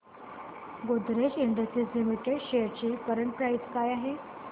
Godrej industries limited shares ची current price काय आहे